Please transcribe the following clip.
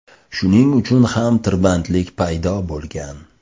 Shuning uchun ham tirbandlik paydo bo‘lgan.